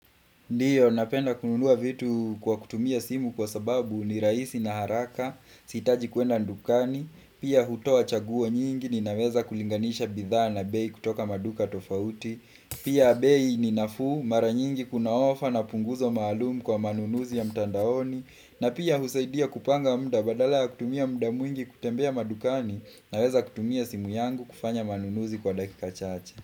Ndiyo, napenda kununua vitu kwa kutumia simu kwa sababu ni rahisi na haraka, sihitaji kuenda dukani, pia hutoa chaguo nyingi ni naweza kulinganisha bidhaa na bei kutoka maduka tofauti, pia bei ni nafuu mara nyingi kunaofa na punguzo maalumu kwa manunuzi ya mtandaoni, na pia husaidia kupanga muda badala ya kutumia muda mwingi kutembea madukani ninaweza kutumia simu yangu kufanya manunuzi kwa dakika chache.